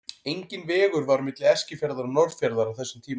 Enginn vegur var á milli Eskifjarðar og Norðfjarðar á þessum tíma.